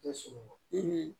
Tɛ sunɔgɔ